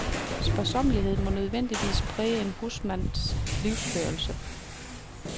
Sparsommelighed, må nødvendigvis præge en husmands livsførelse.